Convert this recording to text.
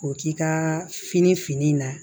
O k'i ka fini fini na